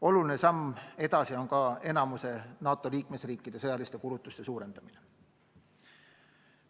Oluline samm edasi on ka enamiku NATO liikmesriikide sõjaliste kulutuste suurendamine.